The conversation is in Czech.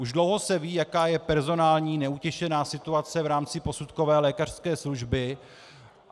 Už dlouho se ví, jaká je personální - neutěšená - situace v rámci posudkové lékařské služby.